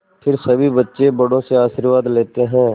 फिर सभी बच्चे बड़ों से आशीर्वाद लेते हैं